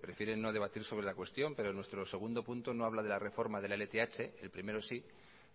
prefieren no debatir sobre la cuestión pero nuestro segundo punto no habla de la reforma de la lth el primero sí